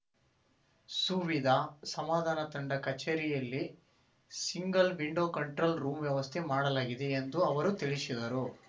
ಸುವಿಧ ಸಮಾಧಾನ ತಂಡ ಕಚೇರಿಯಲ್ಲಿ ಸಿಂಗಲ್ ವಿಂಡೋ ಕಂಟ್ರೋಲ್ ರೂಮ್ ವ್ಯವಸ್ಥೆ ಮಾಡಲಾಗಿದೆ ಎಂದು ಅವರು ತಿಳಿಸಿದರು